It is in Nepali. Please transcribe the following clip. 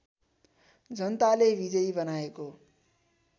जनताले विजयी बनाएको